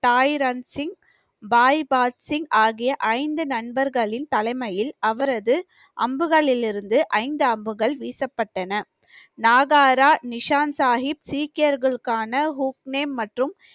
தாய் ரன்சிங், பாய் பாத் சிங் ஆகிய ஐந்து நண்பர்களின் தலைமையில் அவரது அம்புகளிலிருந்து ஐந்து அம்புகள் வீசப்பட்டன நாகாரா நிஷாந்த் சாஹிப் சீக்கியர்களுக்கான ஹூக்னேன் மற்றும்